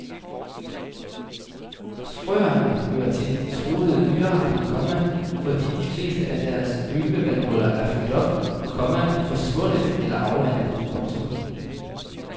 Frøerne hører til de truede dyrearter, komma fordi de fleste af deres ynglevandhuller er fyldt op, komma forsvundet eller afvandet. punktum